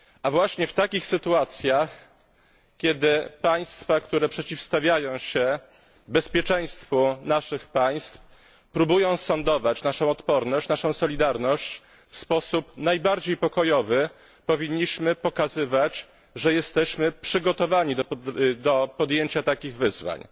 Właśnie w takich sytuacjach, kiedy państwa, które przeciwstawiają się bezpieczeństwu naszych państw, próbują sondować naszą odporność, naszą solidarność w sposób najbardziej pokojowy, powinniśmy pokazywać, że jesteśmy przygotowani do podjęcia takich wyzwań.